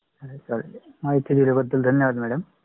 हो चालेल. महिती दिला बददल धन्यवाद.